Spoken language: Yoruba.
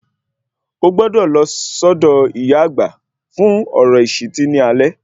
Ogbọ́dọ̀ lọ sọ́dọ̀ ìyá àgbà fún ọ̀rọ̀ ìṣìtí ní alẹ́